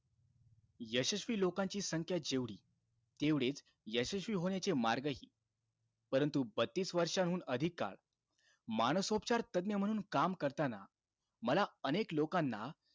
यशस्वी लोकांची संख्या जेवढी, तेवढेचं यशस्वी होण्याचे मार्गही. परंतु, बत्तीस वर्षांहून अधिक काळ मानसोपचार तज्ञ म्हणून काम करताना, मला अनेक लोकांना,